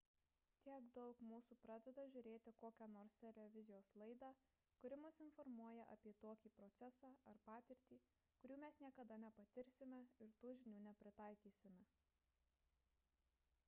tiek daug mūsų pradeda žiūrėti kokią nors televizijos laidą kuri mus informuoja apie tokį procesą ar patirtį kurių mes niekada nepatirsime ir tų žinių nepritaikysime